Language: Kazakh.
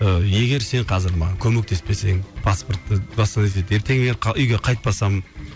егер сен қазір маған көмектеспесең паспортты доставать етіп ертең мен үйге қайтпасам